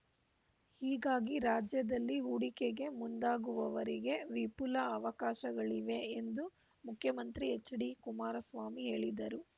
ಹೀಗಾಗಿ ರಾಜ್ಯದಲ್ಲಿ ಹೂಡಿಕೆಗೆ ಮುಂದಾಗುವವರಿಗೆ ವಿಫುಲ ಅವಕಾಶಗಳಿವೆ ಎಂದು ಮುಖ್ಯಮಂತ್ರಿ ಎಚ್‌ಡಿ ಕುಮಾರಸ್ವಾಮಿ ಹೇಳಿದರು